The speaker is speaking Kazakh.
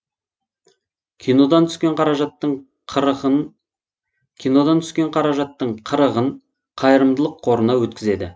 кинодан түскен қаражаттың қырықын кинодан түскен қаражаттың қырығвн қайрымдылық қорына өткізеді